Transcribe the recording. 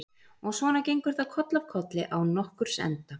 Og svona gengur það koll af kolli án nokkurs enda.